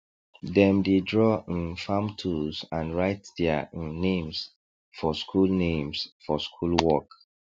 dem dey draw um farm tools and write their um names for school names for school work